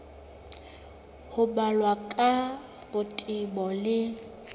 ho balwa ka botebo le